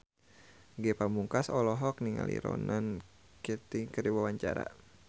Ge Pamungkas olohok ningali Ronan Keating keur diwawancara